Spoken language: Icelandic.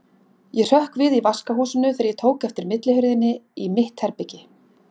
Ég hrökk við í vaskahúsinu þegar ég tók eftir millihurðinni inn í mitt herbergi.